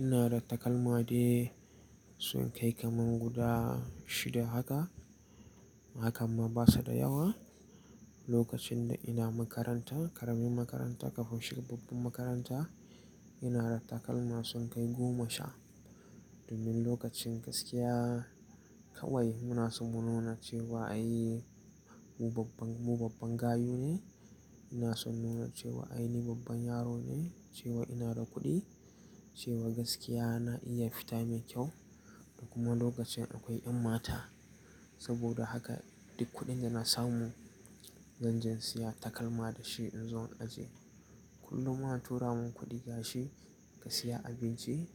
Ina da takalma dai sun kai kaman guda shida haka. Hakamma basu da yawa. Lokacin da ina makaranta, ƙaramin makaranta kafin shiga babban makaranta, ina da takalma sun kai goma sha. Domin lokacin gaskiya kawai muna so mu nuna cewa ai mu babban, mu babban gayu ne. Ina son nuna cewa ai ni babban yaro ne, cewa ina da kuɗi, cewa gaskiya na iya fita mai kyau. Da kuma lokacin akwai ƴan mata. Saboda haka duk kuɗin da na samu zan je in siya takalma da shi in zo in ajiye. Kullum ma a tura mun kuɗi gashi ka siya abinci,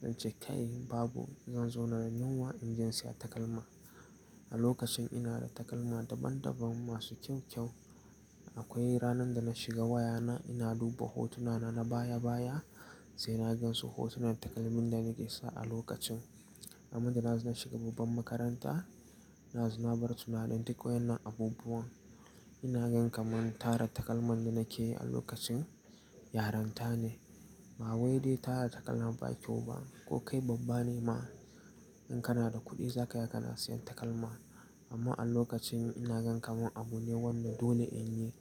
zance kai babu, zan zauna da yunwa in je in siya takalma. A lokacin ina da takalma daban daban masu kyau kyau. Akwai ranar da na shiga wayana ina duba hotunana na baya baya, sai na gan su hotunan takalmin da nake sa a lokacin. Amman da na zo na shiga babban makaranta, na zo na bar tunanin duk wayannan abubuwan. Ina gan kaman tara takalman da nake yi a lokacin, yaren ta ne. Ba wai dai tara takalma ba kyau ba. Ko kai babba ne ma in kana da kuɗi zaka iya kana siyan takalma. Amma a lokacin ina gan kaman abu ne wanda dole in yi,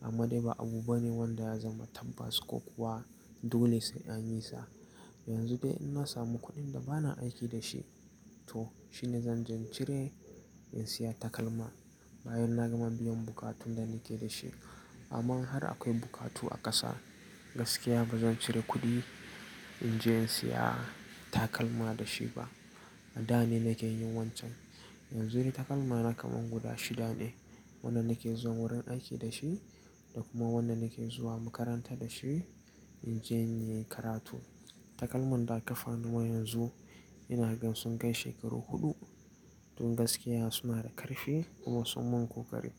amma dai ba abu bane wanda ya zama tabbas ko kuwa dole sai an yi sa. Yanzu dai in na samu kuɗin da bana aiki da shi, to shine zan je in cire in siya takalma. Bayan na gama biyan bukatun da nike da shi. Amman har akwai bukatu a ƙasa, gaskiya bazan cire kuɗi in je in siya takalma da shi ba. A da ne nake yin wancan. Yanzu dai takalma na kaman guda shida ne. Wannan nake zuwa wurin aiki da shi da kuma wanda nake zuwa makaranta da shi in je in yi karatu. Takalman da a kafano ma yanzu ina gan sun kai shekaru huɗu. Tun gaskiya suna da ƙarfi kuma sun mun kokari.